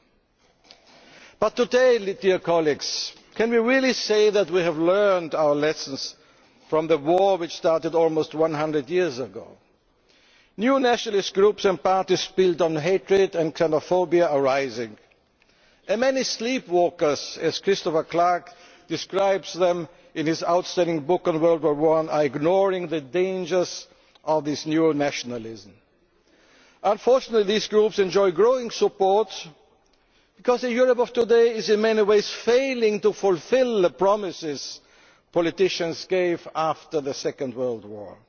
finden konnten. But today, dear colleagues, can we really say that we have learned our lessons from the war which started almost one hundred years ago? New nationalist groups and parties, built on hatred and xenophobia, are rising and many sleepwalkers as Christopher Clark describes them in his outstanding book on World War One are ignoring the dangers of this new nationalism. Unfortunately these groups enjoy growing support because the Europe of today is in many ways failing to fulfil the promises politicians gave after the Second